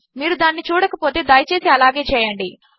మీరు దానిని చూడకపోతే దయచేసి అలాగే చేయండి